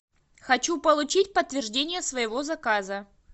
хочу получить подтверждение своего заказа